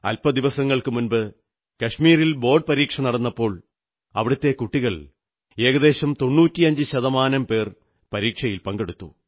അല്പദിവസങ്ങൾക്കുമുമ്പ് board പരീക്ഷ നടന്നപ്പോൾ കശ്മീരിലെ കുട്ടികൾ ഏകദേശം 95 ശതമാനം പേർ പരീക്ഷയിൽ പങ്കെടുത്തു